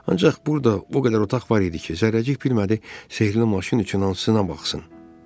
Ancaq burda o qədər otaq var idi ki, Zərrəcik bilmədi sehrli maşın üçün hansına baxsın.